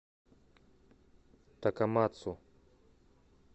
такамацу